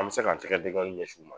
An bɛ se k'an tɛgɛ denkɔɔni ɲɛs'u ma